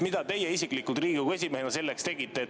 Mida teie isiklikult Riigikogu esimehena selleks tegite?